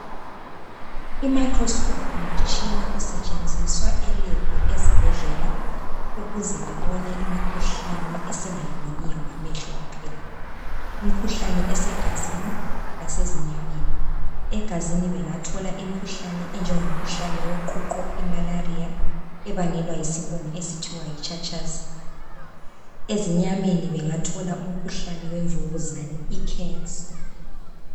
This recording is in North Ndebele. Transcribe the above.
IMicroscope ngumtshina osetshenziswa elab ezibhedlela ukuze bebone imikhuhlane esingayiboniyo ngamehlo kuphela . Imikhuhlane esegazini lasezinyameni, egazini bengathola imkhuhlane enjengo mkhuhlane woqhuqho imalaria ebangelwa yisibungu okuthiwa yitshatshazi. Ezinyameni bengathola umkhuhlane wemvukuzane icancer.